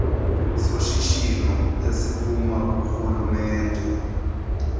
soshishino esiphuma kurhulumente